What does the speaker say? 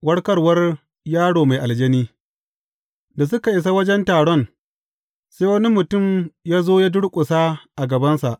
Warkarwar yaro mai aljani Da suka isa wajen taron, sai wani mutum ya zo ya durƙusa a gabansa.